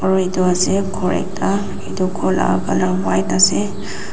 aro edu ase khor ekta edu khor la colour white ase.